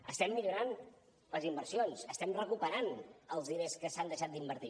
estem millorant les inversions estem recuperant els diners que s’han deixat d’invertir